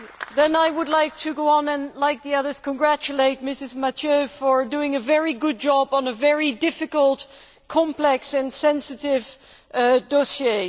Then I would like to go on and, like the others, congratulate Mrs Mathieu for doing a very good job on a very difficult, complex and sensitive dossier.